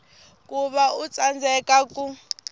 ku va u tsandzeka ku